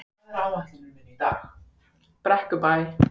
Brekkubæ